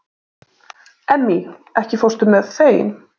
Emmý, ekki fórstu með þeim?